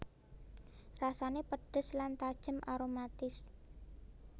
Rasané pedhes lan tajem aromatis